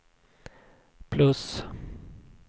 plus